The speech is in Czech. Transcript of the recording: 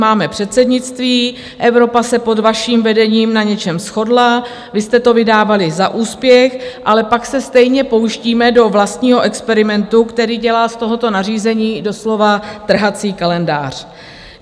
Máme předsednictví, Evropa se pod vaším vedením na něčem shodla, vy jste to vydávali za úspěch, ale pak se stejně pouštíme do vlastního experimentu, který dělá z tohoto nařízení doslova trhací kalendář.